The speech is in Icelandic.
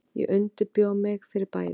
Ég undirbjó mig fyrir bæði.